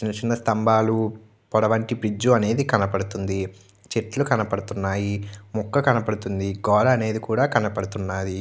చిన్న చిన్న స్తంభాలు పడవటి బ్రిడ్జ్ అనేది కనిపిస్తుంది. చెట్లు కనపడుతూ ఉన్నాయి. ముక్కలు కనపడుతున్నాయి. గోడ అనేది కూడా కనబడుతుంది.